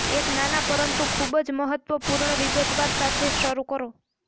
એક નાના પરંતુ ખૂબ જ મહત્વપૂર્ણ વિગતવાર સાથે શરૂ કરો